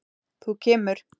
Þú kemur.